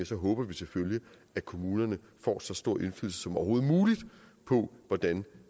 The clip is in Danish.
så håber vi selvfølgelig at kommunerne får så stor indflydelse som overhovedet muligt på hvordan